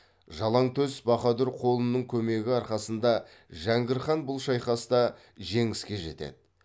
жалаңтөс баһадүр қолының көмегі арқасында жәңгір хан бұл шайқаста жеңіске жетеді